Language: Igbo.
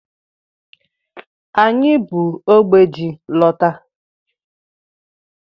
Anyị bu ógbè ji lọta.